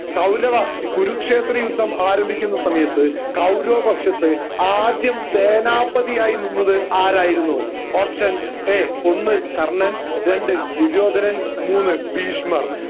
കൗരവ കുരുക്ഷേത്ര യുദ്ധം ആരംഭിക്കുന്ന സമയത്ത് കൗരവ പക്ഷത്ത് ആദ്യം സേനാപതി ആയിരുന്നത് ആരായിരുന്നു option എ ഒന്ന് കർണ്ണൻ രണ്ട് ദുര്യോധനൻ മൂന്ന് ഭീഷ്മർ